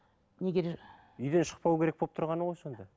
егер үйден шықпау керек болып тұрғаны ғой сонда